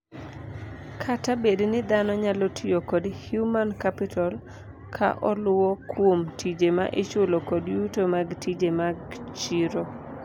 Kata bedni dhano nyalo tiyo kod Human capital ka oluwo kuom tije ma ichulo kod yuto mag tije mag chiro.